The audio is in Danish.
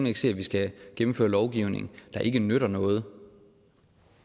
ikke se at vi skal gennemføre lovgivning der ikke nytter noget